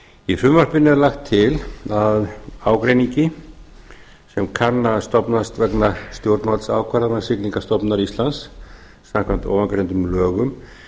í frumvarpinu er lagt til að ágreiningi sem kann að stofnast vegna stjórnvaldsákvarðana siglingastofnunar íslands samkvæmt ofangreindum lögum